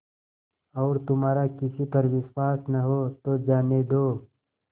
और तुम्हारा किसी पर विश्वास न हो तो जाने दो